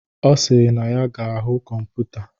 Ọ sịrị na ya ga-ahụ kọmputa.